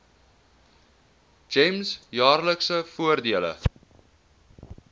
gems jaarlikse voordele